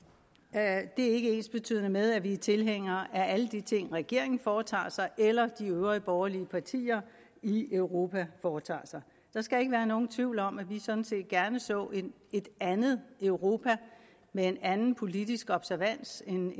det er ikke ensbetydende med at vi er tilhængere af alle de ting regeringen foretager sig eller de øvrige borgerlige partier i europa foretager sig der skal ikke være nogen tvivl om at vi sådan set gerne så et andet europa med en anden politisk observans end